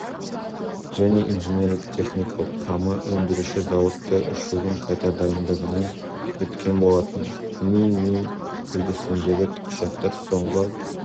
және инженерлік-техникалық құрамы өндіруші зауытта ұшудың қайта дайындығынан өткен болатын ми ми үлгісіндегі тікұшақтардың соңғы